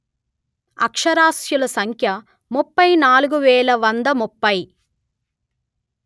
అక్షరాస్యుల సంఖ్య ముప్పై నాలుగు వేల వంద ముప్పై